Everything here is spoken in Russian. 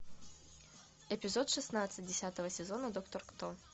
эпизод шестнадцать десятого сезона доктор кто